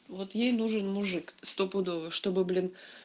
вот ей нужен мужик стопудово чтобы блин